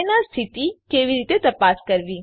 PNR સ્થિતિ કેવી રીતે તપાસ કરવી